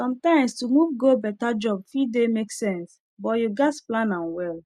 sometimes to move go better job fit dey make sense but you gats plan am well